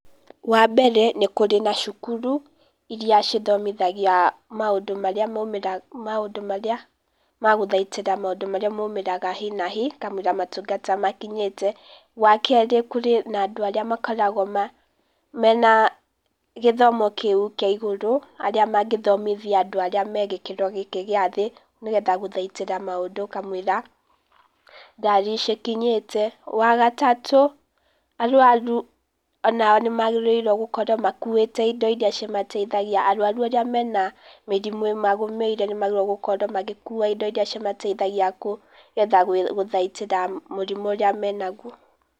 Wa mbere, nĩ kũrĩ na cukuru, iria cithomithagia maũndũ maria maumĩra , maũndũ marĩa ma gũthaitĩra maũndũ marĩa maumĩraga hi na hi, kamũira motungata makinyĩte. Wa kerĩ, kũrĩ na andũ aria makoragwo mena gĩthomo kĩu kĩa igũrũ arĩa mangĩthomithia andũ arĩa me gĩkĩro gĩkĩ gĩa thĩ, nĩgetha gũthaitĩra maũndũ kamũira ngari cikinyĩte, Wa gatatũ, arwaru o nao nĩ magĩrĩirwo gũkorwo makuĩte indo iria cimateithagia, arwaru arĩa mena mĩrimũ ĩmagũmĩire nĩ magĩrĩrwo gũkorwo magĩkua indo iria cimateithagia nĩgetha gũthaitĩra mũrimũ ũrĩa menaguo.